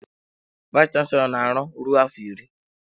Vayis chansilọ ọ na-aru ruo afọ iri?